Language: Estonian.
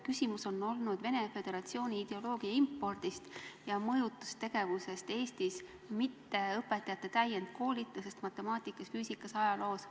Küsimus on olnud Venemaa Föderatsiooni ideoloogia impordist ja mõjutustegevusest Eestis, mitte õpetajate täienduskoolitusest matemaatikas, füüsikas või ajaloos.